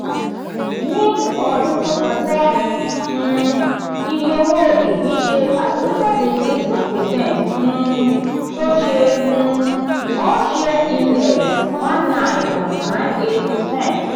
ní ọdún tó kọjá um iye owó ìpín ṣe àgbéjáde eighteen percent um tó ṣe um all share index one nine point nine eight percent.